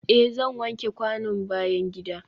eh zan wanke kwanon bayan gida.